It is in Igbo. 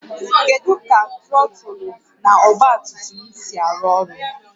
Kedu ka trọtụlụ na ọgba tum tum si arụ ọrụ?